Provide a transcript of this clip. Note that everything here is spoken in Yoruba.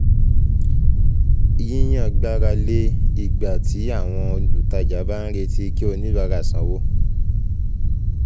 um Yíyàn gbára lé ìgbà tí àwọn um olùtajà bá ń retí kí oníbárà sanwó um